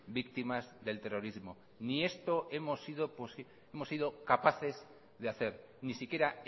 víctimas del terrorismo ni esto hemos sido capaces de hacer ni siquiera